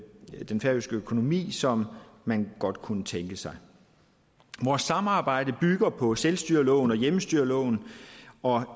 færøske økonomi som man godt kunne tænke sig vores samarbejde bygger på selvstyreloven og hjemmestyreloven og